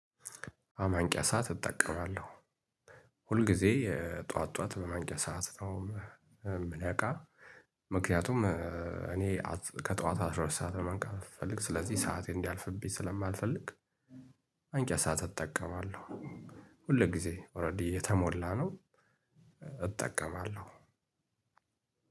የማንቂያ ሰዓት እጠቀማለሁ ሁልጊዜ ጠዋት ጠዋት በማንቂያ ሰዓት ነው የምነቃ። ምክንያቱም እኔ ከጠዋት አስራ ሁለት ሰዓት ነው መንቃት የምፈልግ ስለዚህ ሰዓቴ እንዲያልፍብኝ ስለማልፈልግ። ማንቂያ ሰዓት እጠቀማለሁ። ሁልጊዜ ኦልሬዲ የተሞላ ነው። እጠቀማለሁ